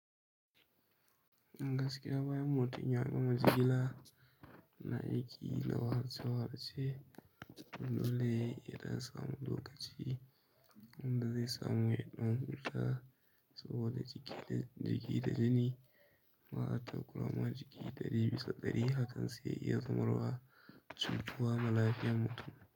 Gaskiya bayan mutum ya gama jigila na aiki na wahalce wahalce dole yadan samu lokaci, in da zai samu ya ɗan huta sabo da jiki da jiki da jini. Ba'a takura ma jiki ɗari bisa ɗari, hakan zai iya zamarwa cutuwa ma lafiyan mutum.